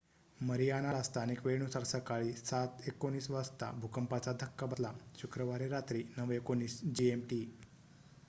Mariana ला स्थानिक वेळेनुसार सकाळी 07:19 वाजता भूकंपाचा धक्का बसला. शुक्रवारी रात्री 09:19 जीएम टी